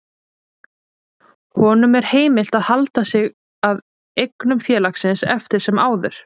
Honum er heimilt að halda sig að eignum félagsins eftir sem áður.